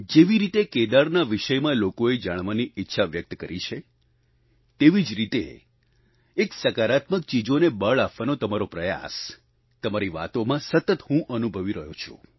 જેવી રીતે કેદારના વિષયમાં લોકોએ જાણવાની ઈચ્છા વ્યક્ત કરી છે તેવી જ રીતે એક સકારાત્મક ચીજોને બળ આપવાનો તમારો પ્રયાસ તમારી વાતોમાં સતત હું અનુભવી રહ્યો છું